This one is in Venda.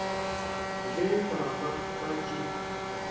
vhe vha vha vha tshi